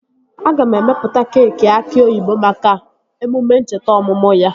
Aga m emepụta keekị aki oyibo maka emume ncheta ọmụmụ ya